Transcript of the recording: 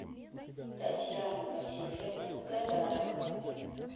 татьяна васильевна гадарова